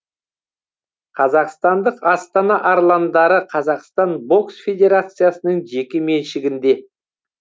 қазақстандық астана арландары қазақстан бокс федерациясының жеке меншігінде